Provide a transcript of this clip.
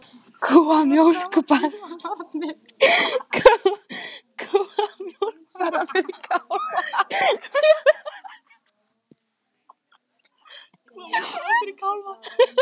Kúamjólk bara fyrir kálfa